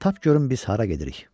Tap görüm biz hara gedirik.